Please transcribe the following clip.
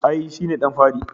I, shi ne ɗan fari